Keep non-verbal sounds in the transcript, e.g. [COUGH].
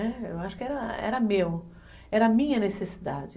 [UNINTELLIGIBLE] Eu acho que era meu, era minha necessidade.